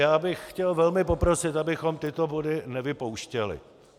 Já bych chtěl velmi poprosit, abychom tyto body nevypouštěli.